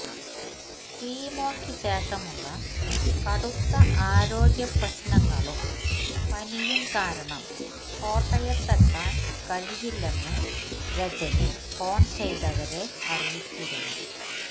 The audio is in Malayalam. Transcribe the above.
കീമോയ്ക്ക് ശേഷമുള്ള കടുത്ത ആരോഗ്യപ്രശ്നങ്ങളും പനിയും കാരണം കോട്ടയത്തെത്താൻ കഴിയില്ലെന്ന് രജനി ഫോൺ ചെയ്തവരെ അറിയിച്ചിരുന്നു